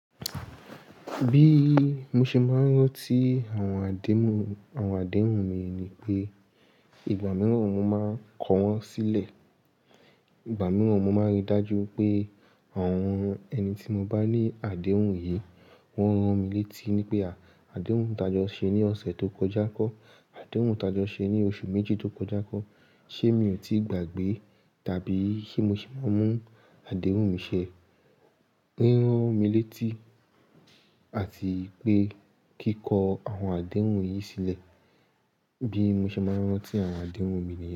Bí mo ṣe máa ń rántí àwọn àdéhùn, àwọn àdéhùn mi ni pé ìgbà mìíràn mo máa n kọ sílẹ̀. Ìgbà mìíràn mo máa rí dájú pé àwọn ẹni tí mo bá ní àdéhùn yìí, wọ́n rán mi létí wipé à, àdéhùn ta jọ ṣe ní ọ̀sẹ̀ tó kọjá kọ́, àdéhùn ta jọ ṣe ní oṣù méjì tó kọjá kọ́, ṣé mi ò tíì gbàgbé? Tàbí ṣé mo sì mú àdéhùn mi ṣẹ? Rán mí létí àti pé kí n kọ àwọn àdéhùn yìí sílẹ̀ bí mo ṣe máa ń rántí àwọn àdéhùn mi nìyẹn.